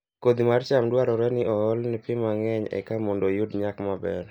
Kodhi mar cham dwarore ni oole pi mang'eny eka mondo oyud nyak maber